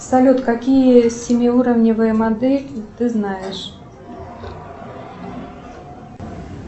салют какие семиуровневые модели ты знаешь